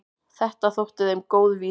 Þetta þótti þeim góð vísa.